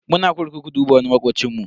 Muna kurkuku duba wani makocinmu.